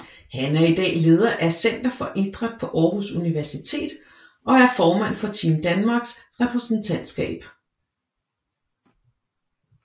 Han er i dag leder af Center for Idræt på Aarhus Universitet og er formand for Team Danmarks repræsentantskab